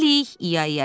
Hələlik,